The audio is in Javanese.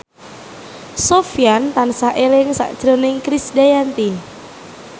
Sofyan tansah eling sakjroning Krisdayanti